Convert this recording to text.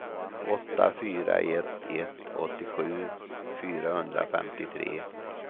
åtta fyra ett ett åttiosju fyrahundrafemtiotre